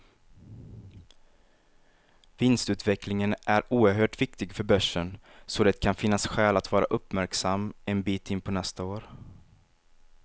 Vinstutvecklingen är oerhört viktig för börsen, så det kan finnas skäl att vara uppmärksam en bit in på nästa år.